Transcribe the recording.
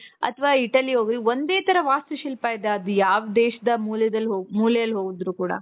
ಅಥವಾ Italy ಹೋಗ್ರಿ ಒಂದೇ ತರ ವಾಸ್ತು ಶಿಲ್ಪದ್ದಾಗಲಿ ಯಾವ್ ದೇಶದ ಮೂಲೆದಲ್ ಮೂಲೆಯಲ್ ಹೋ ಮೂಲೇಲಿ ಹೋದ್ರು ಕೂಡ.